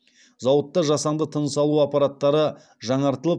зауытта жасанды тыныс алу аппараттары жаңартылып